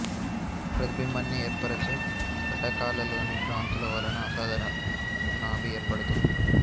ప్రతిబింబాన్ని ఏర్పరచే కటకాలలోని భ్రాంతుల వలన అసాధారాణ నాభి ఏర్పడుతుంది